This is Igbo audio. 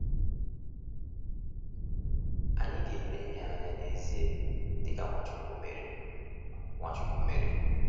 Anyị ga-ele ihe anya n’ezie, dịka Nwachukwu mere. Nwachukwu mere.